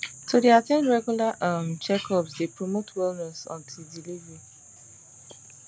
to dey at ten d regular um checkups dey promote wellness until delivery